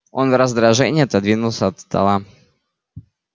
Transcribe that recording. он в раздражении отодвинулся от стола